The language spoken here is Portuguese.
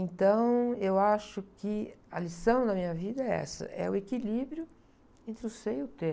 Então, eu acho que a lição da minha vida é essa, é o equilíbrio entre o ser e o ter.